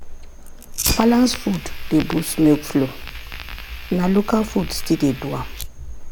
balanced food dey boost milk flow na local food still dey do am.